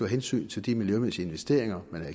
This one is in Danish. hensyn til de miljømæssige investeringer